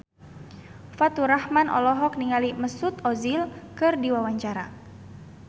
Faturrahman olohok ningali Mesut Ozil keur diwawancara